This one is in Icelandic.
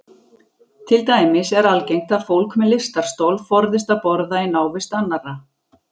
Til dæmis er algengt að fólk með lystarstol forðist að borða í návist annarra.